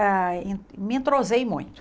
ah e me entrosei muito.